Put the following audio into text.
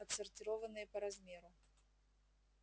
отсортированные по размеру